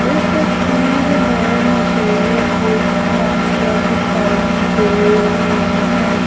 इस तस्वीर में मुझे कुछ मॉनिटर दिखाई दे रहे हैं।